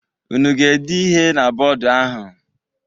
Unu ga-ede ihe na bọdụ ahụ?